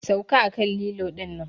Sauka a kan lilon nan!